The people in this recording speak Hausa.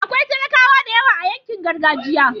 akwai talakawa da yawa a yankin gargajiya